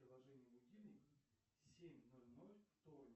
приложение будильник семь ноль ноль вторник